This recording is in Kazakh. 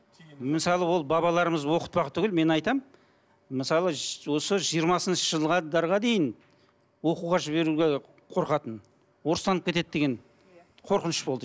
мысалы ол бабаларымыз оқытпақ түгілі мен айтамын мысалы осы жиырмасыншы жылға дейін оқуға жіберуге қорқатын орыстанып кетеді деген қорқыныш болды